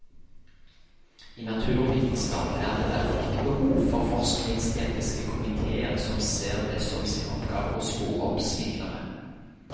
I naturvitenskap er det derfor ikke behov for forskningsetiske komitéer som ser det som sin oppgave å spore opp svindlere.